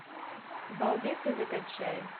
балбесы закачай